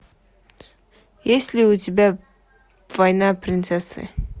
есть ли у тебя война принцессы